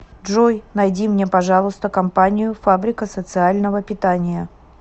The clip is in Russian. джой найди мне пожалуйста компанию фабрика социального питания